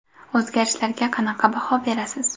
O‘zgarishlarga qanaqa baho berasiz?